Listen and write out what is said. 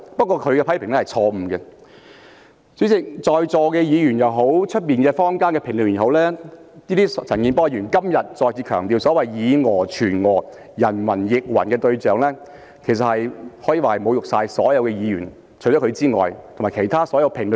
代理主席，對於在座議員也好，外面坊間的評論員也好，陳健波議員在今天再次強調所謂以訛傳訛，人云亦云時所針對的對象，可以說是侮辱所有議員和其他所有評論員。